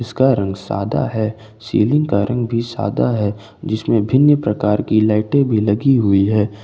उसका रंग सादा है सीलिंग का रंग भी सादा है जिसमें भिन्न प्रकार की लाइटे भी लगी हुई है।